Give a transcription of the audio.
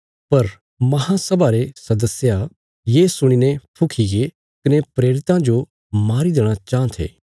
पर महांसभा रे सदस्या ये सुणीने फुखीगे कने प्रेरितां जो मारी देणा चाँह थे